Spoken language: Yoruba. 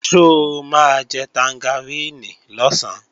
Ṣó máa jẹ tangaríìnì lọ̀sán?